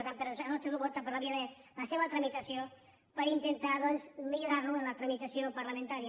per tant el nostre grup opta per la via de la seva tramitació per intentar doncs millorar lo en la tramitació parlamentària